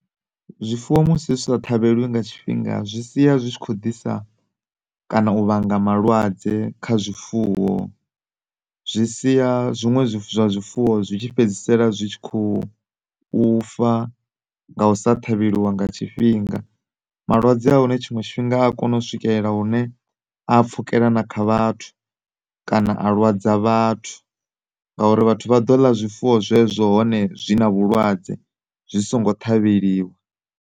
Zwifuwo musi zwi sa ṱhavheliwi nga tshifhinga zwi sia zwi tshi kho ḓisa kana u vhanga malwadze kha zwifuwo, zwi sia zwinwe zwi zwa zwifuwo zwitshi fhedzisela zwi tshi kho ufa nga u sa ṱhavheliwa nga tshifhinga. Malwadze ahone tshinwe tshifhinga a kona u swikelela hune aya pfukela na kha vhathu kana a lwadza vhathu nga uri vhathu vha ḓo ḽa zwifuwo zwezwo hone zwina vhulwadze zwi si ngo ṱhavheliwa.